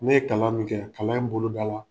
Ne ye kalan min kɛ, kalan in bolo da la